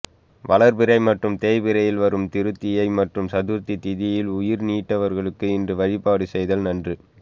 வளர்பிறை மற்றும் தேய்பிறையில் வரும் திருதியை மற்றும் சதுர்த்தி திதியில் உயிர் நீத்தவர்களுக்கு இன்று வழிபாடு செய்தல் நன்று